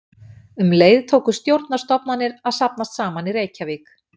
Um leið tóku stjórnarstofnanir að safnast saman í Reykjavík.